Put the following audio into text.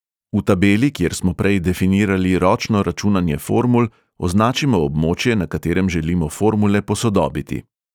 V tabeli, kjer smo prej definirali ročno računanje formul, označimo območje, na katerem želimo formule posodobiti.